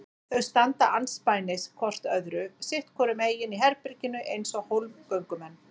Þau standa andspænis hvort öðru sitt hvoru megin í herberginu eins og hólmgöngumenn.